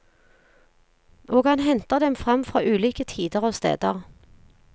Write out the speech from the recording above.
Og han henter dem fram fra ulike tider og steder.